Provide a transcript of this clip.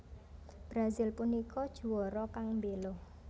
Brazil punika juara kang mbelo